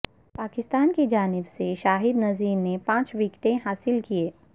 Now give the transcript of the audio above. پاکستان کی جانب سے شاہد نذیر نے پانچ وکٹیں حاصل کیں